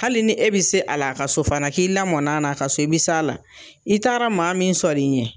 Hali ni e bi se a la a ka so fana k'i lamɔna na a ka so i bi s'a la i taara maa min sɔri ɲɛ